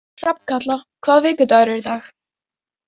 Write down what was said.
Hrafnkatla, hvaða vikudagur er í dag?